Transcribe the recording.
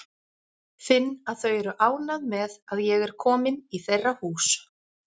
Finn að þau eru ánægð með að ég er komin í þeirra hús.